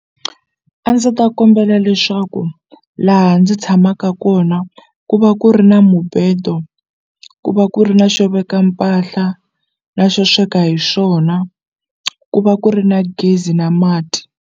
A ndzi ta kombela leswaku laha ndzi tshamaka kona ku va ku ri na mubedo ku va ku ri na xo veka mpahla na xo sweka hi swona ku va ku ri na gezi na mati.